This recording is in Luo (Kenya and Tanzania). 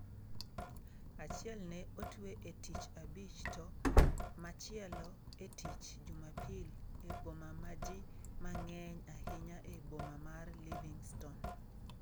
Achiel ne otwe e Tich Abich to machielo e Tich Jumapil e boma ma ji mang'eny ahinya e boma mar Livingstone.